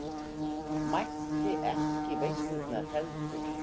Mætti ekki í veislurnar heldur.